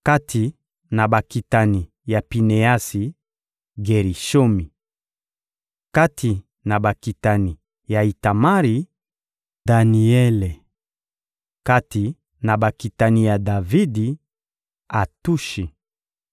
Kati na bakitani ya Pineasi: Gerishomi. Kati na bakitani ya Itamari: Daniele. Kati na bakitani ya Davidi: Atushi.